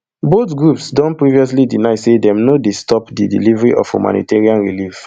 both groups don previously deny say dem no dey stop di delivery of humanitarian relief